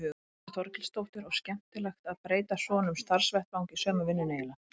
Þórhildur Þorkelsdóttir: Og skemmtilegt að breyta svona um starfsvettvang í sömu vinnunni eiginlega?